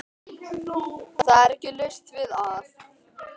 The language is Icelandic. Það er ekki laust við að